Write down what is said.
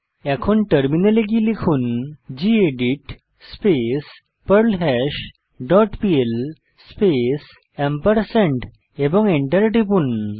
এখন টার্মিনালে গিয়ে লিখুন gedit space perlhash dot PL space এবং Enter টিপুন